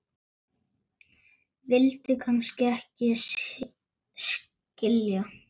vildi kannski ekki skilja